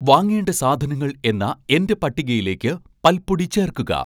വാങ്ങേണ്ട സാധനങ്ങൾ എന്ന എൻ്റെ പട്ടികയിലേക്ക് പൽപ്പൊടി ചേർക്കുക